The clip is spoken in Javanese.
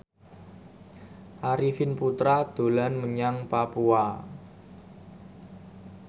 Arifin Putra dolan menyang Papua